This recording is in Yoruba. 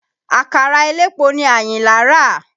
Àkàrà elépo ni Àyìnlá rà.